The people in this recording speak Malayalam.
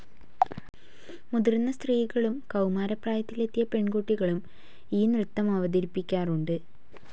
മുതിർന്ന സ്ത്രീകളും കൌമാരപ്രായത്തിലെത്തിയ പെൺകുട്ടികളും ഈ നൃത്തമവതരിപ്പിക്കാറുണ്ട്.